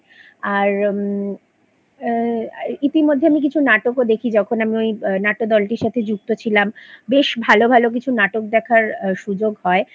আর ম ইতিমধ্যে আমি কিছু নাটকও দেখি যখন আমি ওই নাট্যদলটার সাথে যুক্ত ছিলাম বেশ ভালো ভালো কিছু নাটক দেখার সুযোগ হয়